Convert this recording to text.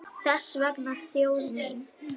Þess vegna þjóð mín!